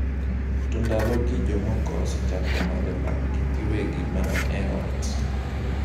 To ndalogi jomoko osechako madho lakgi giwegi mana e ot.